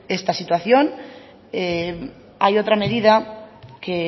esta situación hay otra medida que